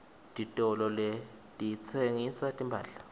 titolo letitsengisa timphahla